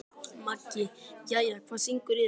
Maggi: Jæja, hvað syngur í þér?